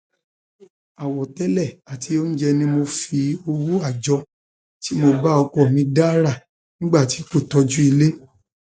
àwọtẹlẹ àti oúnjẹ ni mo fi owó àjọ tí mo bá ọkọ mi dà rà nígbà tí kò tọjú ilé